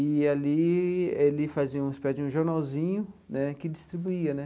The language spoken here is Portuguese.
E ali ele fazia uma espécie de um jornalzinho né que distribuía né.